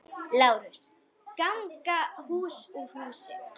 LÁRUS: Ganga hús úr húsi!